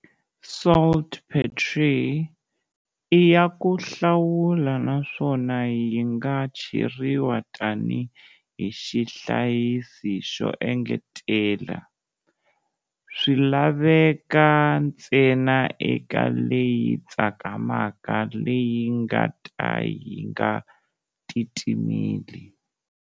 Saltpetre i ya ku hlawula naswona yinga cheriwa tani hi xihlayisi xo engetelela, swilaveka ntsena eka leyi tsakamaka leyi nga ta ka yi nga titimeli.